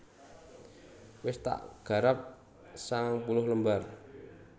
Wes tak garap sangang puluh lembar